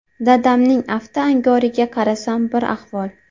Dadamning afti angoriga qarasam, bir ahvol.